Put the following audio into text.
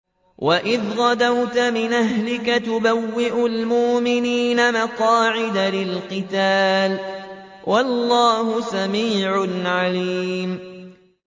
وَإِذْ غَدَوْتَ مِنْ أَهْلِكَ تُبَوِّئُ الْمُؤْمِنِينَ مَقَاعِدَ لِلْقِتَالِ ۗ وَاللَّهُ سَمِيعٌ عَلِيمٌ